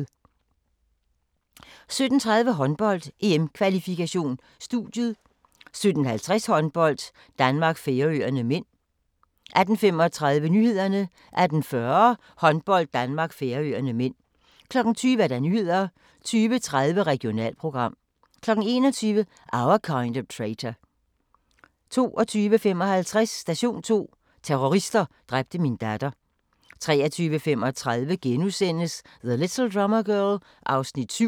16:35: Ikke programsat 17:30: Håndbold: EM-kvalifikation - studiet 17:50: Håndbold: Danmark-Færøerne (m) 18:35: Nyhederne 18:40: Håndbold: Danmark-Færøerne (m) 20:00: Nyhederne 20:30: Regionalprogram 21:00: Our Kind of Traitor 22:55: Station 2: Terrorister dræbte min datter 23:35: The Little Drummer Girl (7:8)*